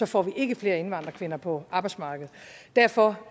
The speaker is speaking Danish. får vi ikke flere indvandrerkvinder på arbejdsmarkedet derfor